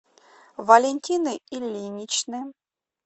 валентины ильиничны